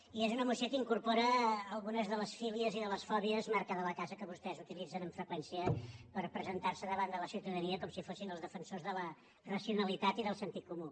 i és una moció que incorpora algunes de les fílies i de les fòbies marca de la casa que vostès utilitzen amb freqüència per presentar se davant de la ciutadania com si fossin els defensors de la racionalitat i del sentit comú